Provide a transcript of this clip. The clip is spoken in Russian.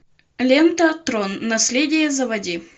лента трон наследие заводи